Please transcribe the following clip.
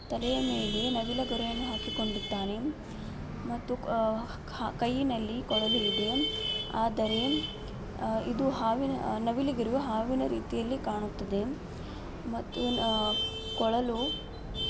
ತಲೆಯ ಮೇಲೆ ನವಿಲ ಗರಿಯನ್ನ ಹಾಕಿಕೊಂಡಿದ್ದಾನೆ ಮತ್ತೆ ಕೈಯಿನಲ್ಲಿ ಕೊಳಲು ಹಿಡಿದು ಆದರೆ ನವಿಲುಗರಿಯು ಹಾವಿನ ರೀತಿ ಕಾಣುತ್ತದೆ ಮತ್ತುಅಹ್ ಕೊಳಲು--